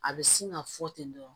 A bɛ sin ka fɔ ten dɔrɔn